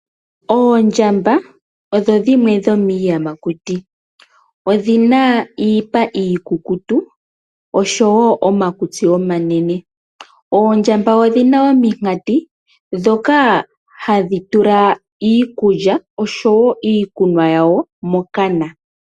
Oondjamba odho dhimwe dhomiiyamakuti, odhina iipa iikukutu oshowo omakutsi omanene. Oondjamba odhina ominkati ndhoka hadhi tula iikulya oshowo iikunwa yawo mokana.